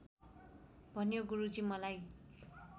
भन्यो गुरुजी मलाई